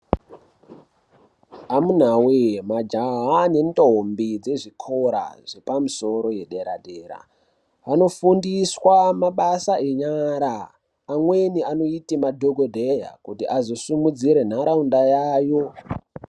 Amunawoye majaha nendombi dzezvikora zvepamusoro yedera dera vanofundiswa mabasa enyara amweni anoite madhokodheya kuti azosumudzira ntaraunda yavo.